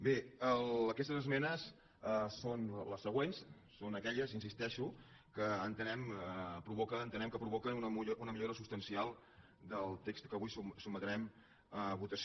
bé aquestes esmenes són les següents són aquelles hi insisteixo que entenem que provoquen una millora substancial del text que avui sotmetrem a votació